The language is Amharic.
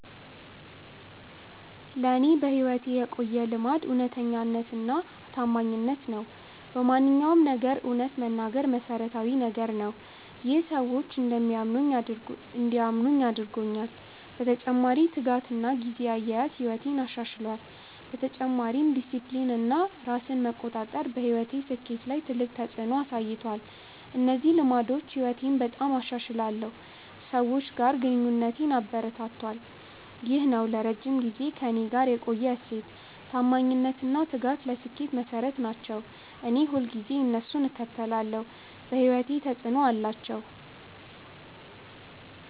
ለእኔ በሕይወቴ የቆየ ልማድ እውነተኛነትና ታማኝነት ነው። በማንኛውም ነገር እውነት መናገር መሠረታዊ ነገር ነው። ይህ ሰዎች እንዲያምኑኝ አድርጎኛል። በተጨማሪ ትጋትና ጊዜ አያያዝ ሕይወቴን አሻሽሏል። በተጨማሪም ዲሲፕሊን እና ራስ መቆጣጠር በሕይወቴ ስኬት ላይ ትልቅ ተፅዕኖ አሳይቷል። እነዚህ ልማዶች ሕይወቴን በጣም አሻሽለው ሰዎች ጋር ግንኙነቴን አበረታቱ። ይህ ነው ለረጅም ጊዜ ከእኔ ጋር የቆየ እሴት። ታማኝነት እና ትጋት ለስኬት መሠረት ናቸው። እኔ ሁልጊዜ እነሱን እከተላለሁ። በሕይወቴ ተፅዕኖ አላቸው።። ነው እሴት።